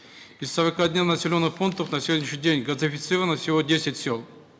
из сорока населенных пунктов на сегодняшний день газифицировано всего десять сел